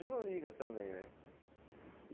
Ele não liga também, né?